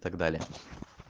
так далее